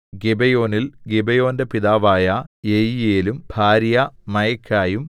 ഗിബെയോനിൽ ഗിബെയോന്റെ പിതാവായ യെയീയേലും ഭാര്യ മയഖായും